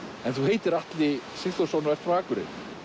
en þú heitir Atli Sigþórsson og ert frá Akureyri